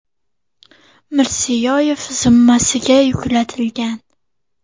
Mirziyoyev zimmasiga yuklatilgan.